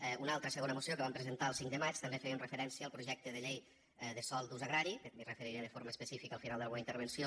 en una altra segona moció que vam presentar el cinc de maig també fèiem referència al projecte de llei de sòl d’ús agrari que m’hi referiré de forma específica al final de la meua intervenció